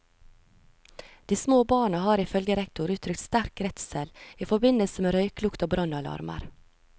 De små barna har ifølge rektor utrykt sterk redsel i forbindelse med røyklukt og brannalarmer.